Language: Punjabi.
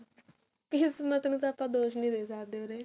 ਕਿਸਮਤ ਨੂੰ ਤਾਂ ਆਪਾਂ ਦੋਸ਼ ਨੀ ਦੇ ਸਕਦੇ ਉਰੇ